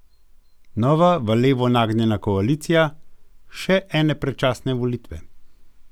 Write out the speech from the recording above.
Nova v levo nagnjena koalicija, še ene predčasne volitve?